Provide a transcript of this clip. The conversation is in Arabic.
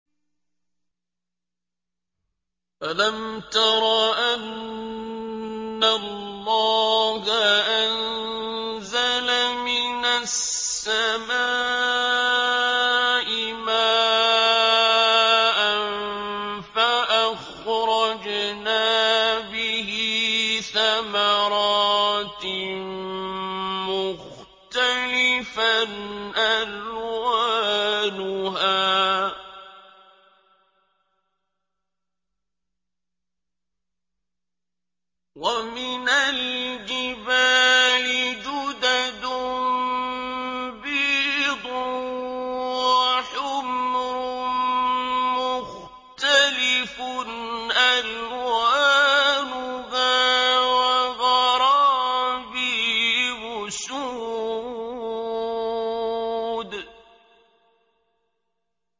أَلَمْ تَرَ أَنَّ اللَّهَ أَنزَلَ مِنَ السَّمَاءِ مَاءً فَأَخْرَجْنَا بِهِ ثَمَرَاتٍ مُّخْتَلِفًا أَلْوَانُهَا ۚ وَمِنَ الْجِبَالِ جُدَدٌ بِيضٌ وَحُمْرٌ مُّخْتَلِفٌ أَلْوَانُهَا وَغَرَابِيبُ سُودٌ